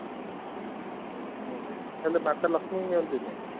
ହୁଁ ହେଲେ ମତ ଲକ୍ଷ୍ମୀଙ୍କୁ ନିୟନ୍ତିନୀ